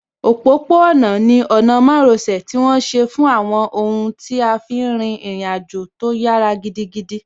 Òpópó-ọ̀nà ni ọ̀nà márosẹ̀ tí wọ́n ṣe fún àwọn ohun tí a fí n rin ìrìn àjò tó yára gidigidi